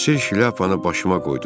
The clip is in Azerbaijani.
Həsir şlyapanı başıma qoydum.